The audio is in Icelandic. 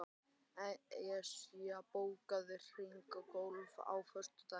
Esjar, bókaðu hring í golf á föstudaginn.